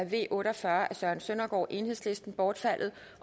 v otte og fyrre af søren søndergaard bortfaldet